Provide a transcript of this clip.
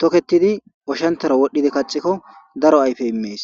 toketidi oshantara wodhdhidi kaxikko daro ayfe immees